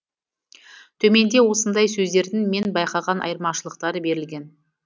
төменде осындай сөздердің мен байқаған айырмашылықтары берілген